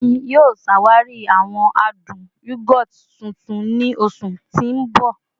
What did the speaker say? Emi yoo ṣawari awọn adun yogurt tuntun ni oṣu ti n bọ